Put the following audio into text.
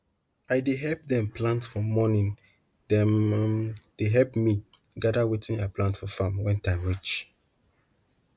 i dey help dem plant for morning dem um dey help me gather wetin i plant for farm when time reach